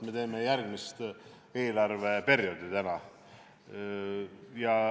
Me tegeleme täna järgmise eelarveperioodiga.